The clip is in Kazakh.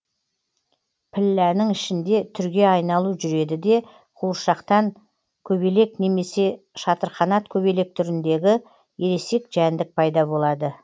пілләнің ішінде түрге айналу жүреді де қуыршақтан көбелек немесе шатырқанат көбелек түріндегі ересекжәндік пайда болады